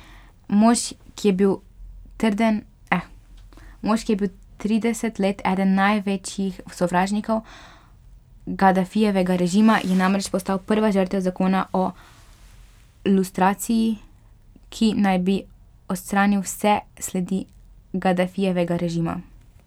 Mož, ki je bil trideset let eden največjih sovražnikov Gadafijevega režima, je namreč postal prva žrtev zakona o lustraciji, ki naj bi odstranil vse sledi Gadafijevega režima.